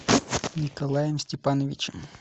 николаем степановичем